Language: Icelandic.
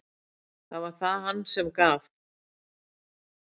Þar var það hann sem gaf.